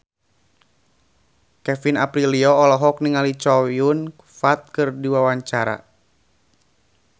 Kevin Aprilio olohok ningali Chow Yun Fat keur diwawancara